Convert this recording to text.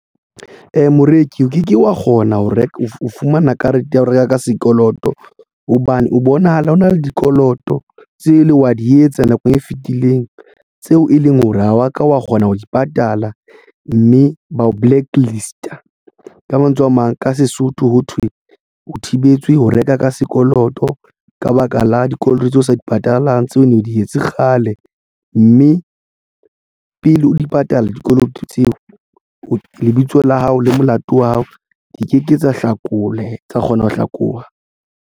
Moreki o ke ke wa kgona ho reka o fumana karete ya ho reka ka sekoloto hobane o bonahala ho na le dikoloto tse leng wa di etsa nakong e fetileng tseo e leng hore ha wa ka wa kgona ho di patala mme bao blacklist a ka mantswe a mang ka Sesotho ho thwe o thibetse ho reka ka sekoloto ka baka la dikoloto tseo o sa di patalang tseo ne di etse kgale mme pele o di patala dikoloto tseo lebitso la hao le molato wa hao di ke ke tsa hlakole tsa kgona ho hlakoha.